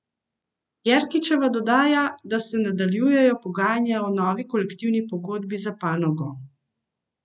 Jerkičeva dodaja, da se nadaljujejo pogajanja o novi kolektivni pogodbi za panogo.